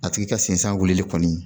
A tigi ka sensan wili kɔni